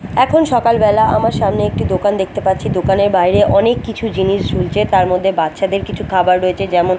এখন সকাল বেলা আমার সামনে একটি দোকান দেখতে পাচ্ছি দোকানের বাইরে অনেক কিছু জিনিস ঝুলছে তার মধ্যে বাচ্চাদের কিছু খাবার রয়েছে যেমন--